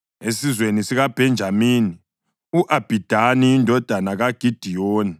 esizweni sikaBhenjamini, u-Abhidani indodana kaGidiyoni;